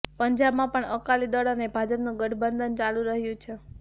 પંજાબમાં પણ અકાલી દળ અને ભાજપનું ગઠબંધન ચાલુ રહ્યું છે